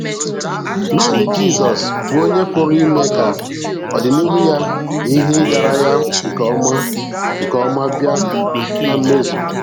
Naanị Jizọs bụ onye pụrụ ime ka ọdịnihu ya na ihe ịgara ya nke ọma nke ọma bịa na mmezu.